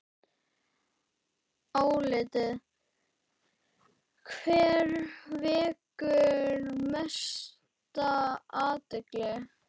Álitið: Hver vekur mesta athygli?